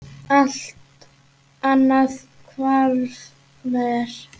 Allt annað hvarf mér.